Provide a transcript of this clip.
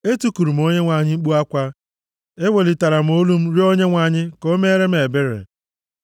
Etikuru m Onyenwe anyị mkpu akwa; ewelitara m olu m rịọ Onyenwe anyị ka o meere m ebere.